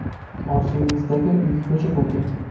Orzungizdagi uyga ko‘chib o‘ting!